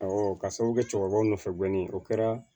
ka sababu kɛ cɛkɔrɔba nɔfɛ gɔni o kɛra